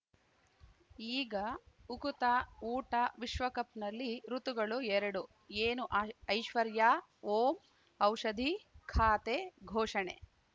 ಈಗ ಉಕುತ ಊಟ ವಿಶ್ವಕಪ್‌ನಲ್ಲಿ ಋತುಗಳು ಎರಡು ಏನು ಐಶ್ವರ್ಯಾ ಓಂ ಔಷಧಿ ಖಾತೆ ಘೋಷಣೆ